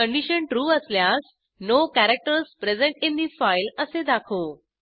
condition true असल्यास no characters present in the file असे दाखवू